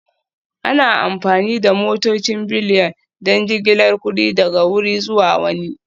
Ana amfani da motocin Bullion don jigilar kuɗi daga wuri zuwa wani